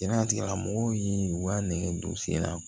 Jɛnɛtigɛla mɔgɔw ye u ka nɛgɛ don sen na